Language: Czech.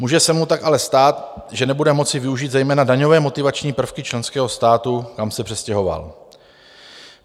Může se mu tak ale stát, že nebude moci využít zejména daňové motivační prvky členského státu, kam se přestěhoval.